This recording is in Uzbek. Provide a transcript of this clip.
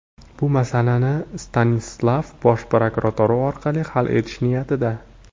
Bu masalani Stanislav bosh prokuratura orqali hal etish niyatida.